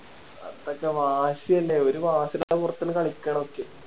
അതൊക്കെ വാശിയുണ്ടായി ഒരു വാശിടെ പൊറത്ത് ആണ് കളിക്കണതൊക്കെ